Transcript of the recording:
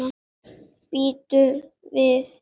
Bíddu við.